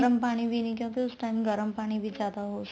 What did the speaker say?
ਗਰਮ ਪਾਣੀ ਵੀ ਨੀ ਕਿਉਂਕਿ ਉਸ time ਗਰਮ ਪਾਣੀ ਜਿਆਦਾ ਹੋ